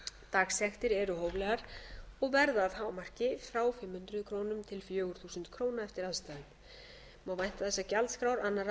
dagsektir eru hóflegar og verða að hámarki frá fimm hundruð krónur til fjögur þúsund krónur eftir aðstæðum má vænta þess að gjaldskrár annarra